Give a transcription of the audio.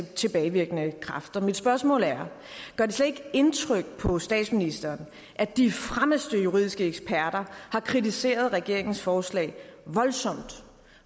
tilbagevirkende kraft mit spørgsmål er gør det slet ikke indtryk på statsministeren at de fremmeste juridiske eksperter har kritiseret regeringens forslag voldsomt